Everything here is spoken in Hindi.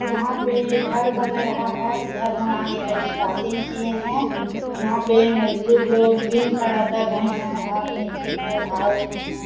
यहां पे घर बन रहा है घर बनाने का स्टार्टिंग किए हैं यहां पे मजदूर लोग बीम खड़ा कर रहे हैं और नीचे को उठाओ --